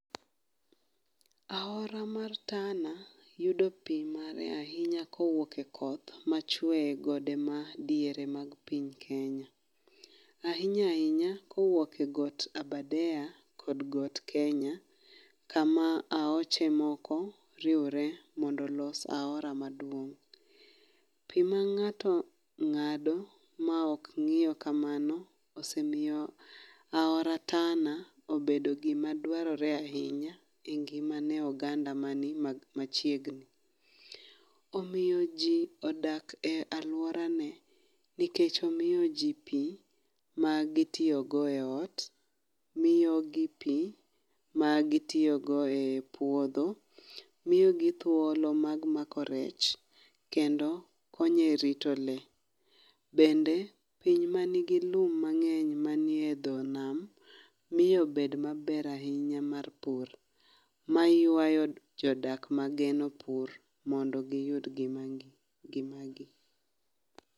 Aora mar Tana, yudo pi mare ahinya kowuok e koth ma chwe e gode ma diere mar piny Kenya. Ahinya ahinya, kowuok e got Aberdare kod got Kenya, kama aoche moko riwore mondo olos aora maduong. Pi ma ngáto ngádo ma ok ngíew kamano, osemiyo aora Tana obedo gima dwarore ahinya e ngima ne oganda mani machiegni. Omiyo ji odak e alworane, nikech omiyo ji pii ma gitiyo go e ot. Miyogi pii, ma gitiyogo ei puodho. Miyogi thuolo mag mako rech. Kendo, konyo e rito lee. Bende, piny ma nigi lum mangény manie dho nam, miyo bed maber ahinya mar pur, mayuayo jodak mageno pur mondo giyud ngimagi, ngimagi.